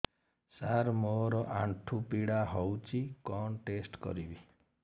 ସାର ମୋର ଆଣ୍ଠୁ ପୀଡା ହଉଚି କଣ ଟେଷ୍ଟ କରିବି